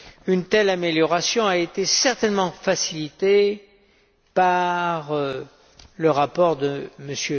Une telle amélioration a été certainement facilitée par le rapport de M.